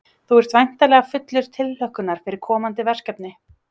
Þú ert væntanleg fullur tilhlökkunar fyrir komandi verkefni?